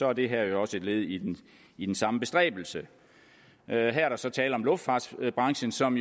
er det her også et led i i den samme bestræbelse her er der så tale om luftfartsbranchen som